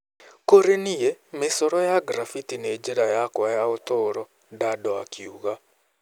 Kũrĩ niĩ, mĩcoro ya graffiti nĩ njĩra yakwa ya ũtũũro , Daddo akiuga.